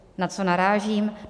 Na co narážím?